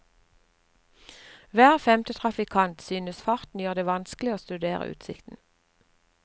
Hver femte trafikant synes farten gjør det vanskelig å studere utsikten.